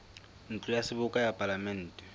ntlo ya seboka ya palamente